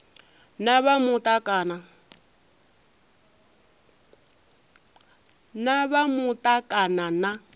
na vha muta kana na